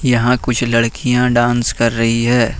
यहां कुछ लड़कियां डांस कर रही हैं।